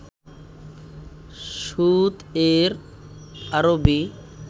সুদ এর আরবি